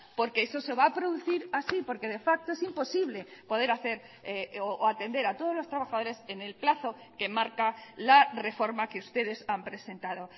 porque eso se va a producir así porque de facto es imposible poder hacer o atender a todos los trabajadores en el plazo que marca la reforma que ustedes han presentado